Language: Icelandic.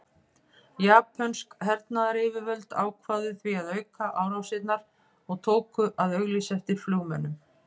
Japönsk hernaðaryfirvöld ákváðu því að auka árásirnar og tóku að auglýsa eftir flugmönnum.